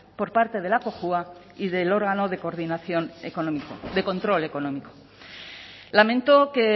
por parte de la cojua y del órgano de coordinación económico de control económico lamento que